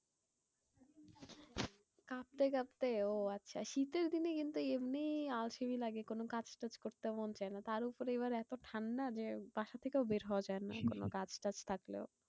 কাঁপতে কাঁপতে ওহ আচ্ছা শীতের দিনে কিন্তু এমনি আলসেমি লাগে। কোনো কাজ টাজ করতে মন চাইনা। তারওপর এইবার এত ঠান্ডা যে, বাসা থেকেও বের হওয়া যায়না কাজ ফাজ থাকলেও।